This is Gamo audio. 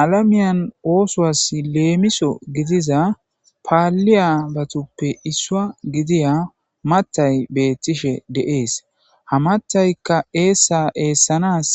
alamiyan oosowas leemiso gidiza paaliya batuppe issua gidiya matay beettishe de7ees hamattaykka eessa eessanas